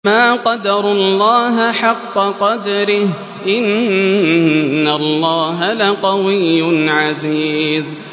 مَا قَدَرُوا اللَّهَ حَقَّ قَدْرِهِ ۗ إِنَّ اللَّهَ لَقَوِيٌّ عَزِيزٌ